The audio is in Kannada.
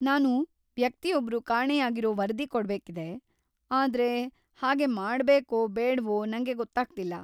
ನಾನು ವ್ಯಕ್ತಿಯೊಬ್ರು ಕಾಣೆಯಾಗಿರೋ ವರದಿ ಕೊಡ್ಬೇಕಿದೆ ಆದ್ರೆ ಹಾಗೆ ಮಾಡ್ಬೇಕೋ ಬೇಡ್ವೋ ನಂಗೆ ಗೊತ್ತಾಗ್ತಿಲ್ಲ.